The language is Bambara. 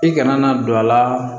I kana na don a la